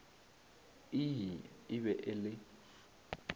ii e be e le